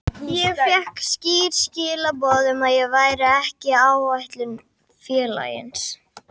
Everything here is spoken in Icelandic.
Ég fékk skýr skilaboð um að ég væri ekki áætlunum félagsins.